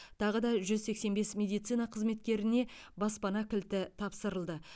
тағы да жүз сексен бес медицина қызметкеріне баспана кілті тапсырылды